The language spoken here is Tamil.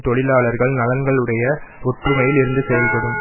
தொழிலாளர்கள் நலன்களுடைய ஒற்றுமையில் இருந்து செயல்படும்